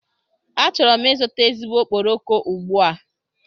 Achọrọ m ịzụta ezigbo okporoko ugbu a.